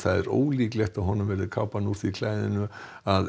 ólíklegt er að honum verði kápan úr því klæðinu að